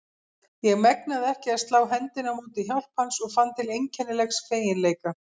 Ég megnaði ekki að slá hendinni á móti hjálp hans og fann til einkennilegs feginleika.